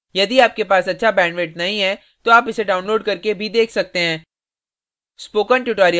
यदि आपके पास अच्छा bandwidth नहीं है तो आप इसको download करने और देख सकते हैं